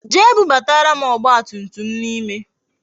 Jee bubatara m ọgba tum tum m n'ime